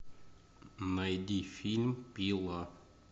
найди фильм пила